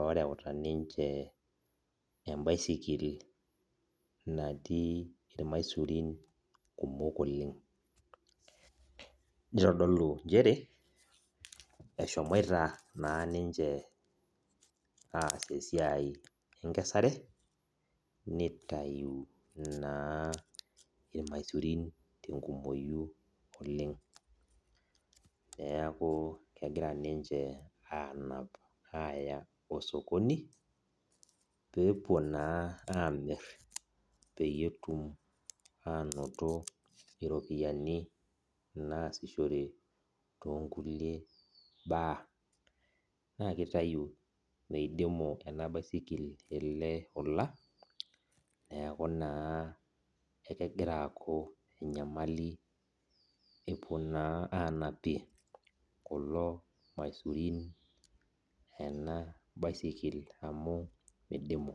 oreuta ninche embaisikil natii irmaisurin kumok oleng , nitodolu nchere , eshomoita naa ninche aas esiai enkesare nitayu naa irmaisurin tenkumoyu oleng , neaku kegira ninche angamu aya osokoni pepuo naa amir peyie etum anoto ropiyiani naasishore toonkulie baa naa keitayu meidimu enabaisikil ele ola , neaku naa ekegira aaku enyamali epuo naa anapie kulo maisurin enabaisikil amu midimu.